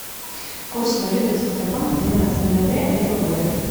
курс валюты центробанк двенадцатое ноября этого года